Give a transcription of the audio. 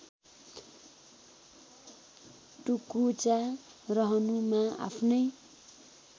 टुकुचा रहनुमा आफ्नै